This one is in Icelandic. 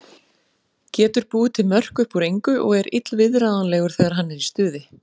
Getur búið til mörk upp úr engu og er illviðráðanlegur þegar hann er í stuði.